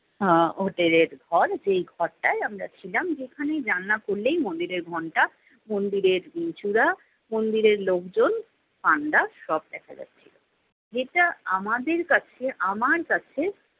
আহ হোটেলের ঘর যেই ঘরটায় আমরা ছিলাম, যেখানে জানালা খুললেই মন্দিরের ঘন্টা মন্দিরের উম চূড়া মন্দিরের লোকজন panda সব দেখা যাচ্ছিলো। যেটা আমাদের কাছে আমার কাছে